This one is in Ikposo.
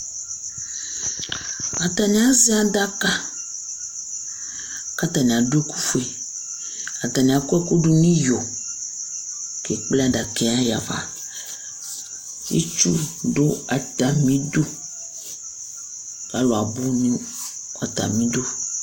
Atani azɛ adaka kʋ atani adu ɛku fʋe Atani akɔ ɛku du nʋ iyo kʋ ekple adaka yɛ yahafa Itsʋ du atami idu kʋ alu abʋ nʋ atami idu